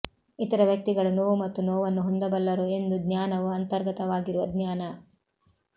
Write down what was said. ಇತರ ವ್ಯಕ್ತಿಗಳು ನೋವು ಮತ್ತು ನೋವನ್ನು ಹೊಂದಬಲ್ಲರು ಎಂದು ಜ್ಞಾನವು ಅಂತರ್ಗತವಾಗಿರುವ ಜ್ಞಾನ